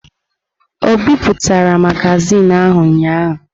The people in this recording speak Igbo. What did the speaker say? O bipụtara magazin ahụ ụnyahụ?